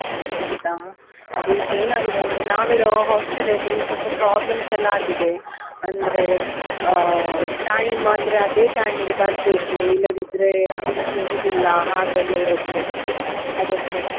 ಹೊ ಹೌದಾ? ಅದೀಗ ಏನಾಗಿದೆ ಅಂದ್ರೆ ನಾವಿರೋ hostel ಅಲ್ಲಿ ಸ್ವಲ್ಪ problems ಎಲ್ಲ ಆಗಿದೆ, ಅಂದ್ರೆ ಆ time ಅಂದ್ರೆ ಅದೇ time ಗೆ ಬರ್ಬೇಕು, ಇಲ್ಲದಿದ್ರೆ entry ಇರುದಿಲ್ಲ ಹಾಗೆಲ್ಲಾ ಇರುತ್ತೆ ಅದಕ್ಕೆ.